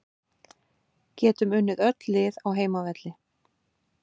Getum unnið öll lið á heimavelli